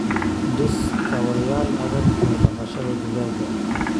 Dhis kaabayaal adag oo dhaqashada digaagga.